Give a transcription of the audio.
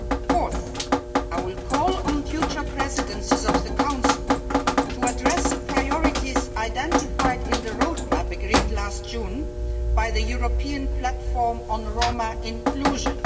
Fourthly, I will call on future presidencies of the Council to address the priorities identified in the roadmap agreed last June by the European Platform on Roma Inclusion.